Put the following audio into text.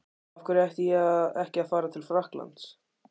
Af hverju ætti ég ekki að fara til Frakklands?